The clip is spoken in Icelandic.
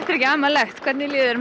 er ekki amalegt mér líður